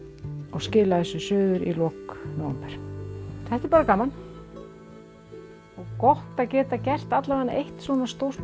og skila þessu suður í lok nóvember þetta er bara gaman og gott að geta gert eitt stórt